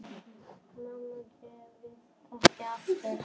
Mamma giftist ekki aftur.